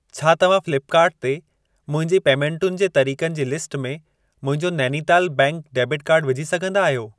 छा तव्हां फ़्लिपकार्ट ते मुंहिंजी पेमेंटुनि जे तरिक़नि जी लिस्ट में मुंहिंजो नैनीताल बैंक डेबिट कार्डु विझी सघंदा आहियो?